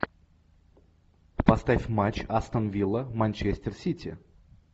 поставь матч астон вилла манчестер сити